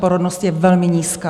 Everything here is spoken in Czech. Porodnost je velmi nízká.